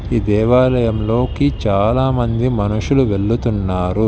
ఈ దేవాలయంలోకి చాలామంది మనుషులు వెళుతున్నారు.